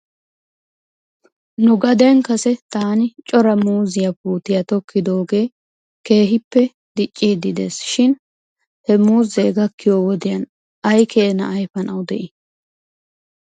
Nu gade kase taani cota muuziyaa puutiyaa tokkidoogee keehippe dicciidi des shin he muuzee gakkiyoo wodiyan aykeenaa ayfanaw de'ii ?